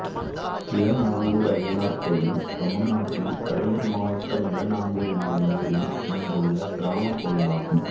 இளநாங்கூர் ஐயனார் கோயில் தமிழ்நாட்டில் கடலூர் மாவட்டம் இளநாங்கூர் என்னும் ஊரில் அமைந்துள்ள கிராமக் கோயிலாகும்